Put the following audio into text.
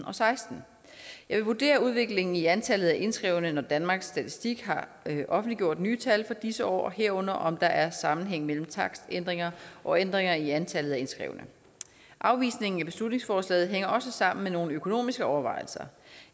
og seksten jeg vil vurdere udviklingen i antallet indskrevne når danmarks statistik har offentliggjort nye tal for disse år og herunder om der er sammenhæng mellem takstændringer og ændringer i antallet af indskrevne afvisningen af beslutningsforslaget hænger også sammen med nogle økonomiske overvejelser